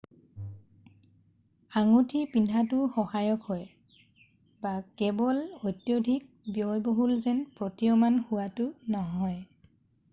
আঙুঠি পিন্ধাটোও সহায়ক হয় কেৱল অত্যাধিক ব্যয়বহুল যেন প্ৰতীয়মান হোৱাটো নহয়।